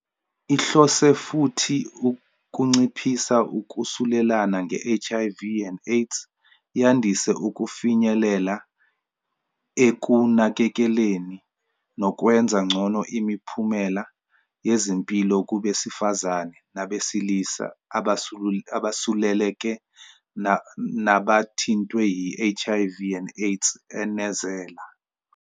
"Ihlose futhi ukunciphisa ukusulelana nge-HIV and AIDS, yandise ukufinyelela ekunakekeleleni nokwenza ngcono imiphumela yezempilo kubesifazane nabesilisa abasuleleke nabathintwe yi-HIV and AIDS," enezela.